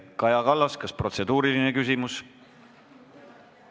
Kaja Kallas, kas protseduuriline küsimus?